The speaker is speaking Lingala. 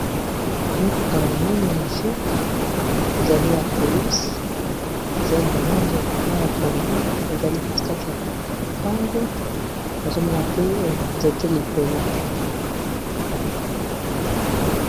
Mutuka monene ya egypte ezali ya polise ezali na langi mayi ya pondo ezali kati kati ya lopango nazomona pe nzete likolo.